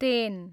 ten